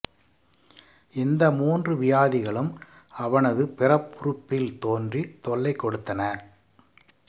இந்த மூன்று வியாதிகளும் அவனது பிறப்புறுப்பில் தோன்றி தொல்லை கொடுத்தன